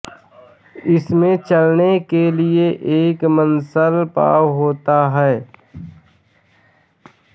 इसमें चलने के लिए एक मांसल पाव होता है